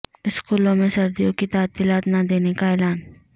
سکولوں میں سردیوں کی تعطیلات نہ دینے کا اعلان